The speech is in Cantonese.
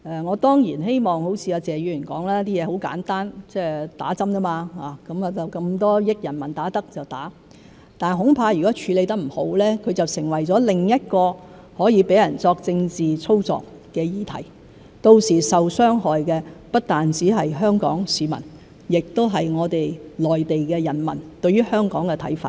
我當然希望如謝議員所說，事情很簡單，打針而已，那麼多億的人民可以打，那我們也打；但恐怕如果處理得不好，就成為了另一個可以讓人作政治操作的議題，到時候受傷害的不單是香港市民，亦影響內地的人民對於香港的看法。